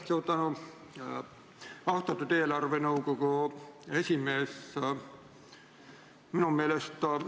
Suur tänu, austatud eelarvenõukogu esimees!